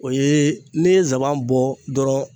O ye ne ye nsaban bɔ dɔrɔnw